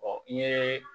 i ye